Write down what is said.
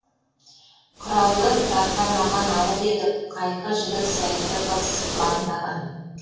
құралы тарқамаған ауыл едік қайқы жігіт сәйкі қыз қылаңдаған